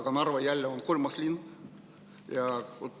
Aga Narva on jälle kolmas linn.